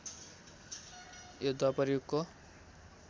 यो द्वापर युगको